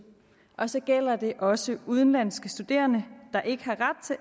og så gælder det også udenlandske studerende der ikke